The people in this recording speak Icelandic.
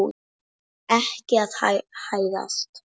Ég er ekki að hæðast.